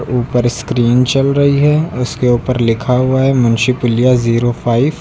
ऊपर स्क्रीन चल रही है। उसके ऊपर लिखा हुआ है मुंशी पुलिया जीरो फाइफ ।